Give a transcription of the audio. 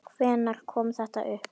Hvenær kom þetta upp?